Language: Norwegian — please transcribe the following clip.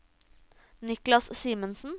Niklas Simensen